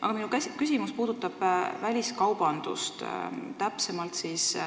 Aga minu küsimus puudutab väliskaubandust.